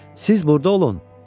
"Siz burda olun.